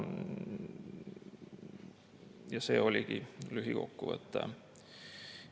Ja see oligi lühikokkuvõte.